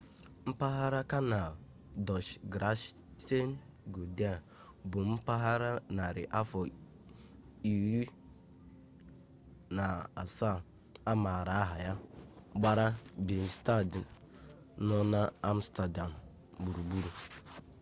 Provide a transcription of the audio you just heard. mpaghara kanal dọch: grachtengordel bụ mpaghara narị afọ 17 a maara aha ya gbara binenstad nọ n'amstadam gburugburu